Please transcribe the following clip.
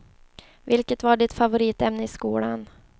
Vilket var ditt favoritämne i skolan?